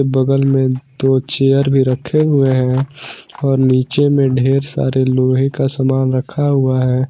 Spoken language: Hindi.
बगल में दो चेयर भी रखे हुए हैं और नीचे मे ढेर सारे लोहा का सामान रखा हुआ है।